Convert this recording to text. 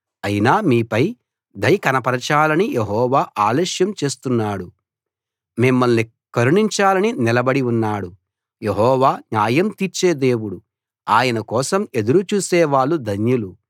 అయినా మీపై దయ కనపరచాలని యెహోవా ఆలస్యం చేస్తున్నాడు మిమ్మల్ని కరుణించాలని నిలబడి ఉన్నాడు యెహోవా న్యాయం తీర్చే దేవుడు ఆయన కోసం ఎదురు చూసే వాళ్ళు ధన్యులు